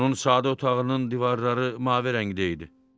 Onun sadə otağının divarları mavi rəngdə idi.